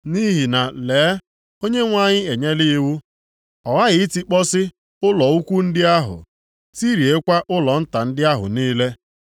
Nʼihi na lee, Onyenwe anyị e nyela iwu. Ọ ghaghị itikpọsị ụlọ ukwu ndị ahụ, tiriekwa ụlọ nta ndị ahụ niile.